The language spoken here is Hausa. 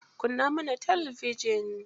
Kunna mana talabijin.